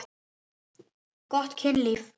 Gott kynlíf.